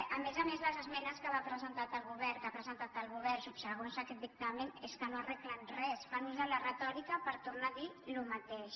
a més a més les esmenes que va presentar el govern que ha presentat el govern subsegüents a aquest dictamen és que no arreglen res fan ús de la retòrica per tornar a dir el mateix